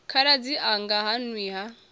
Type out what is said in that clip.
khaladzi anga ha nwi ha